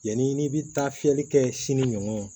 Yanni n'i bɛ taa fiyɛli kɛ sini ɲɔ